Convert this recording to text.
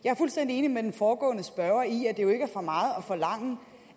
jeg er fuldstændig enig med den foregående spørger i at at forlange